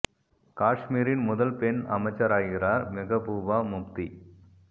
காஷ்மீரின் முதல் பெண் அமைச்சராகிறார் மெகபூபா முப்தி